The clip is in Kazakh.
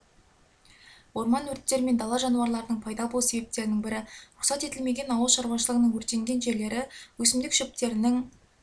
орман өрттері мен дала жануларының пайда болу себептерінің бірі рұқсат етілмеген ауылшаруашылығының өртенген жерлері өсімдік шөптерінің